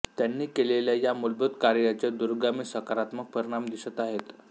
त्यांनी केलेल्या या मुलभूत कार्याचे दूरगामी सकारात्मक परिणाम दिसत आहेत